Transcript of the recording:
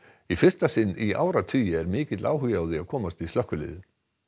í fyrsta sinn í áratugi er mikill áhugi á að komast í slökkviliðið